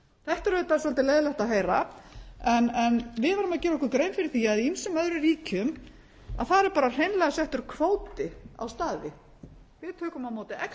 þetta er auðvitað svolítið leiðinlegt að heyra en við verðum að gera okkur grein fyrir því að í ýmsum öðrum ríkjum að þar er bara hreinlega settur kvóti á staði við tökum á móti tíu manns og